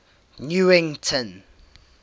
newington